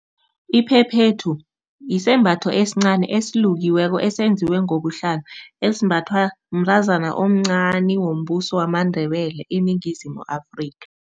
Iphephethu isembatho esincani esilukiweko esenziwe ngobuhlalo, esimbathwa mntazana omncani wombuso wamaNdebele iningizimu Afrika.